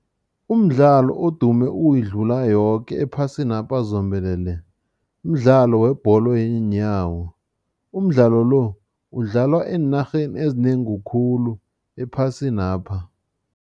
Umdlalo odume ukuyidlula yoke ephasinapha zombelele, mdlalo webholo yenyawo. Umdlalo lo udlalwa eenarheni ezinengi khulu ephasinapha.